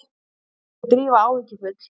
spurði Drífa áhyggjufull.